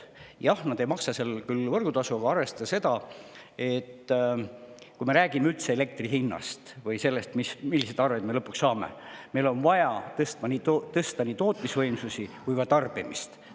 Jah, nad ei maksa küll võrgutasu, aga arvestades seda, milline on üldse elektri hind, või seda, milliseid arveid me lõpuks saame, on meil vaja tõsta nii tootmisvõimsusi kui ka tarbimist.